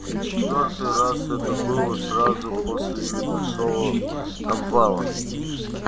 в четвёртый раз это было сразу после небольшого обвала